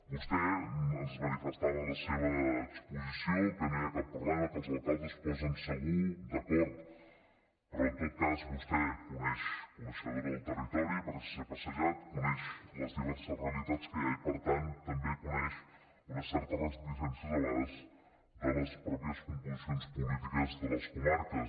vostè ens manifestava en la seva exposició que no hi ha cap problema que els alcaldes es posen segur d’acord però en tot cas vostè és coneixedora del territori perquè s’hi ha passejat coneix les diverses realitats que hi ha i per tant també en coneix unes certes reticències de vegades de les mateixes composicions polítiques de les comarques